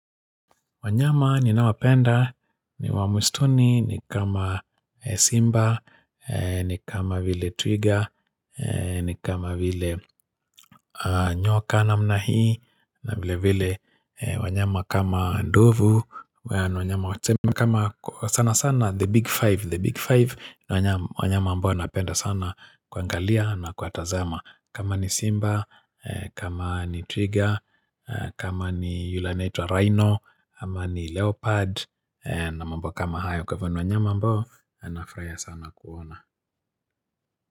Wanyama ninawapenda, ni wa msituni, ni kama simba, ni kama vile twiga, ni kama vile nyoka namna hii, na vile vile wanyama kama ndovu, wanyama kama sana sana the big five, the big five, wanyama ambao napenda sana kuangalia na kuwatazama. Kama ni Simba, kama ni Twiga, kama ni yule anaitwa Rhino, ama ni Leopard na mambo kama hayo kwa hivyo ni wanyama ambao, nafurahia sana kuwaona.